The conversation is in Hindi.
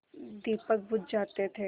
दीपक बुझ जाते थे